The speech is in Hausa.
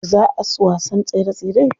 Yauce zaa su wasan tsere tsere?